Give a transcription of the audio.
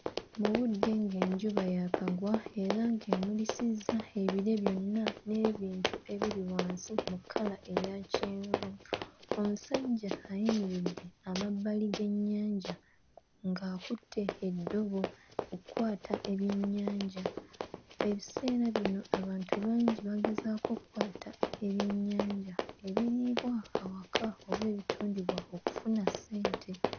Mu budde ng'enjuba yaakagwa era ng'emulisizza ebire byonna n'ebintu ebiri wansi mu kkala eya kyenvu. Omusajja ayimiridde amabbali g'ennyanja ng'akutte eddobo okkwata ebyennyanja. Ebiseera bino abantu bangi bagezaako okkwata ebyennyanja ebiriibwa awaka oba ebitundibwa okufuna ssente.